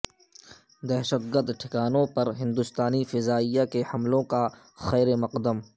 دہشت گرد ٹھکانوں پر ہندوستانی فضائیہ کے حملوں کا خیرمقدم